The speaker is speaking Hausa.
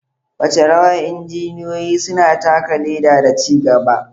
Wace rawa injiniyoyi suna taka leda da ci gaba?